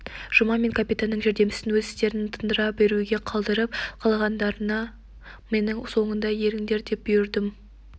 жұма мен капитанның жәрдемшісін өз істерін тындыра беруге қалдырып қалғандарына менің соңымнан еріңдер деп бұйырдым